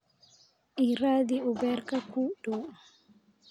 ii raadi uberka kuugu dhow